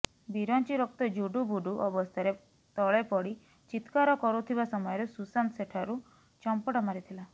ବିରଞ୍ଚି ରକ୍ତ ଜୁଡ଼ୁବୁଡ଼ୁ ଅବସ୍ଥାରେ ତଳେ ପଡ଼ି ଚିତ୍କାର କରୁଥିବା ସମୟରେ ସୁଶାନ୍ତ ସେଠରୁ ଚମ୍ପଟ ମାରିଥିଲା